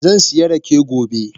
Zansiya rake gobe.